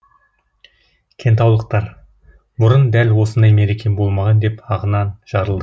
кентаулықтар бұрын дәл осындай мереке болмаған деп ағынан жарылды